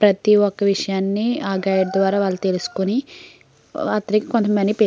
ప్రతి ఒక్క విషయాన్ని ఆ గైడ్ ద్వారా వాళ్ళు తెలుసుకుని అతనికి కొంత మనీ --